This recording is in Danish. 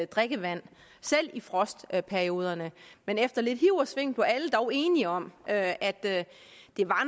drikkevand selv i frostperioderne men efter lidt hiv og sving blev alle dog enige om at at det